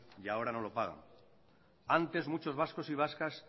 y ahora no lo pagan antes muchos vascos y vascas